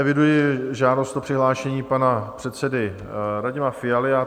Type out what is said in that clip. Eviduji žádost o přihlášení pana předsedy Radima Fialu.